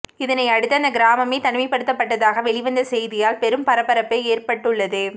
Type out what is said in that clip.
இதனை அடுத்து அந்த கிராமமே தனிமைப்படுத்தப்பட்டதாக வெளிவந்த செய்தியால் பெரும் பரபரப்பு ஏற்பட்டுள்ளது